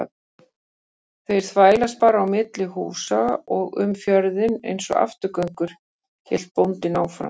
Þeir þvælast bara á milli húsa og um fjörðinn einsog afturgöngur, hélt bóndinn áfram.